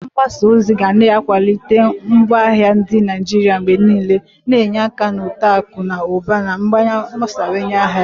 Onye ahịa mgbasa ozi ga na-akwalite ngwaahịa ndị Naijiria mgbe niile, na-enye aka na uto akụ na ụba na mgbasawanye ahịa.